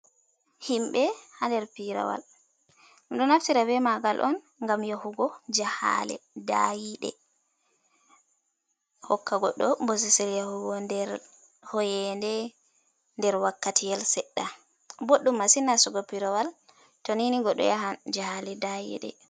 Himɓɓe ha der pirawal ɗum ɗo naftira be magal on gam yahugo jahale dayide hokka goɗɗo bosesil yahugo nder hoyende der wakkati yal seɗɗa, ɓoɗɗum masin nastugo pirawal to nini goɗɗo yahan jahale dayiɗe.